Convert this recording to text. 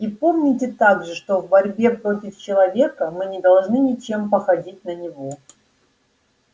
и помните также что в борьбе против человека мы не должны ничем походить на него